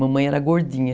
Mamãe era gordinha.